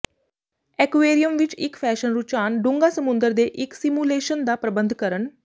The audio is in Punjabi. ਐਕੁਏਰੀਅਮ ਵਿੱਚ ਇੱਕ ਫੈਸ਼ਨ ਰੁਝਾਨ ਡੂੰਘਾ ਸਮੁੰਦਰ ਦੇ ਇੱਕ ਸਿਮੂਲੇਸ਼ਨ ਦਾ ਪ੍ਰਬੰਧ ਕਰਨ